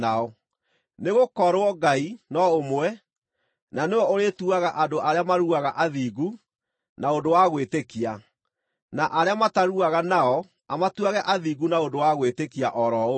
nĩgũkorwo Ngai no ũmwe, na nĩwe ũrĩĩtuaga andũ arĩa maruaga athingu, na ũndũ wa gwĩtĩkia, na arĩa mataruaga nao amatuuage athingu na ũndũ wa gwĩtĩkia o ro ũguo.